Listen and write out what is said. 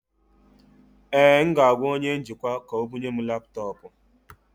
Ee, m ga-agwa onye njikwa ka o bụnye m laptọọpụ